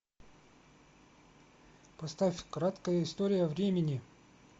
поставь краткая история времени